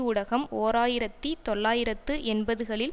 ஊடகம் ஓர் ஆயிரத்தி தொள்ளாயிரத்து எண்பதுகளில்